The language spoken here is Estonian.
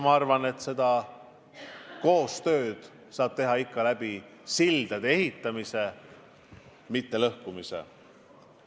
Ma arvan, et koostööd saab teha ikka sildade ehitamise, mitte lõhkumise abil.